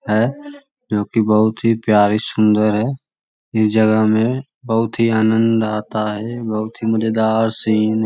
है जो की बहुत ही प्यारी सुन्दर है ये जगह में बहुत ही आनंद आता है बहुत ही मजेदार सिन --